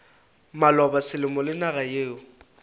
maloba selemo le naga yeo